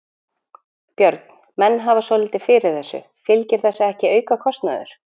Björn: Menn hafa svolítið fyrir þessu, fylgir þessu ekki aukakostnaður?